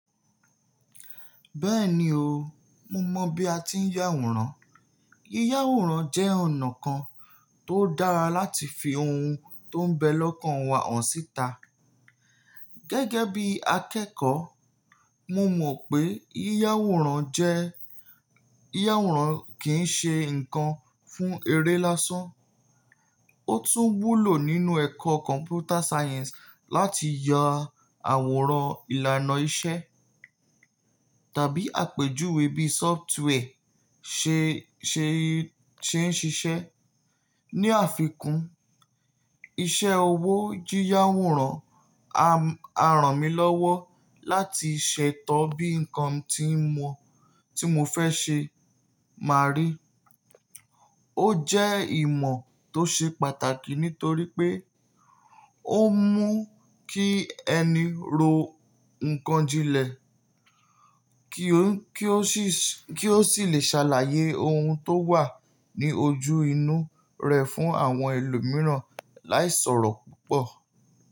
Bẹ́ẹ̀ni o, mo mọ̀ bí a ti ń yàwòrán. Yíyáwòrán jẹ́ ọ̀nà kan tó dára láti fi ohun tó ń bẹ lọ́kàn wa hàn síta. Gẹ́gẹ́ bí akẹ́kọ̀ọ́, mo mọ̀ pé yíyáwòrán jẹ́, yíyáwòrán kìí ṣe nǹkan fún eré lásán, ó tún wúlò nínú ẹ̀kọ́ Computer Science láti yà awòran ìlànà iṣẹ́ tàbí àpèjúwe bí software ṣe, ṣe, ṣe ń ṣiṣẹ́. Ni àfikún, iṣẹ́ owó yíyáwòrán a, a ràn mí lọ́wọ́ láti ṣètọ́ bí nǹkan tí mo, tí mo fẹ́ ṣe máa rí. Ó jẹ́ ìmọ̀ tó ṣe pàtàkì nítorí pé ó mú kí ẹni rò nǹkan jínlẹ̀ kí ó, kí ó sì, kí ó sì lè ṣàlàyé ohun tó wà ní ojú inú rẹ̀ fún àwọn ẹlòmíràn láìsọ̀rọ̀ púpọ̀.